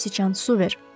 Göy sıçan su ver.